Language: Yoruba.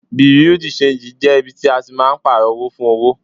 Bùréú-di-ṣenji jẹ́ ibi tí a máa ń tí pààrò owó fún owó.